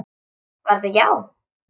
Var þetta já?